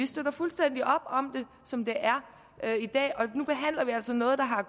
støtter fuldstændig op om det som det er i dag og nu behandler vi altså noget der har